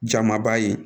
Jamaba ye